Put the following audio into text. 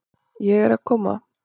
Ég er að koma.